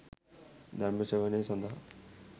ධර්ම ශ්‍රවණය සඳහා